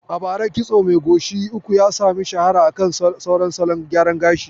A bara kitso mai goshi uku ya sami shahara akan sauran salon gyara gashi.